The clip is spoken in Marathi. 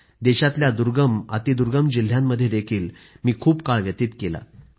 देशातल्या दुर्गमअतिदुर्गम जिल्ह्यांमध्येही मी खूप काळ व्यतीत केला आहे